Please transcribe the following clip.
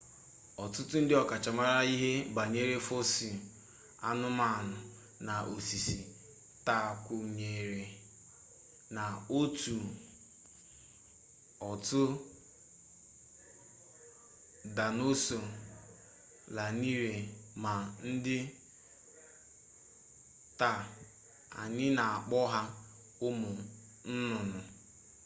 ọtụtụ ndị ọkachamara ihe banyere fọsịl anụmanụ na osisi taa kwenyere na otu otu daịnosọọ lanarịrị ma dị ndụ taa anyị na-akpọ ha ụmụ nnụnụ